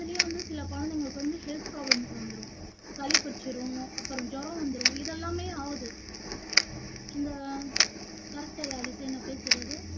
அதுலயும் வந்து சில குழந்தைங்களுக்கு வந்து health problem வந்துரும் சளி புடிச்சுரும் அப்பறம் ஜுரம் வந்துரும் இதெல்லாமே ஆவுது இந்த correct ஆ யாழிசை நான் பேசுறது